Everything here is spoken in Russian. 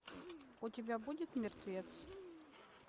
у тебя будет мертвец